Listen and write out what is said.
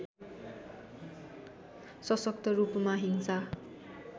सशक्तरूपमा हिंसा